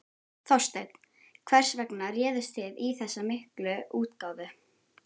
Þorsteinn, hvers vegna réðust þið í þessa miklu útgáfu?